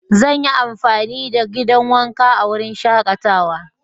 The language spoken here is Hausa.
Zan yi amfani da gidan wanka a wurin shakatawa.